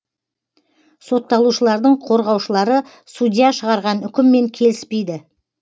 сотталушылардың қорғаушылары судья шығарған үкіммен келіспейді